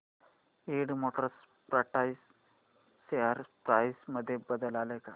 Ind motor parts share price मध्ये बदल आलाय का